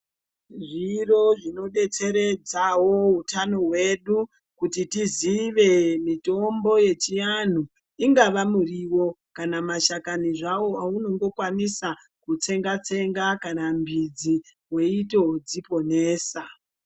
Zviro zvinotibetseredza utano hwedu kuti tizive mitombo yechianhu ingava muriwo kana mashakani zvawo awunongokwanisa kutsenga tsenga kana midzi weitodziponesa .